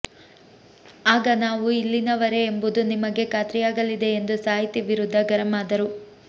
ಆಗ ನಾವು ಇಲ್ಲಿನವರೇ ಎಂಬುದು ನಿಮಗೆ ಖಾತ್ರಿಯಾಗಲಿದೆ ಎಂದು ಸಾಹಿತಿ ವಿರುದ್ಧ ಗರಂ ಆದರು